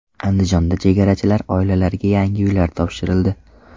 Andijonda chegarachilar oilalariga yangi uylar topshirildi.